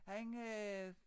Han øh